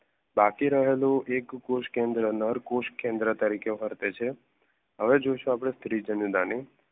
બાકી રહેલું નર કોષ કેન્દ્ર તરીકે વર્તે છે હવે જોઇશું આપણે ધ્રિજનધણી